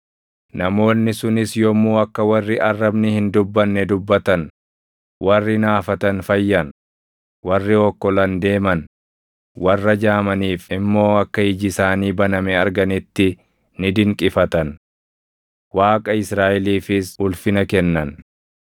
Namoonni sunis yommuu akka warri arrabni hin dubbanne dubbatan, warri naafatan fayyan, warri okkolan deeman, warra jaamaniif immoo akka iji isaanii baname arganitti ni dinqifatan. Waaqa Israaʼeliifis ulfina kennan.